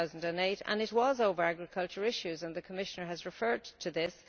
2008. It was over agriculture issues, and the Commissioner has referred to this.